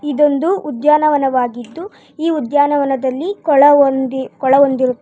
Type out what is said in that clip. ಇದೊಂದು ಉದ್ಯಾನವನವಾಗಿದ್ದು ಈ ಉದ್ಯಾನವನದಲ್ಲಿ ಕೊಳವೊಂದಿ ಕೊಳವೊಂದಿರು --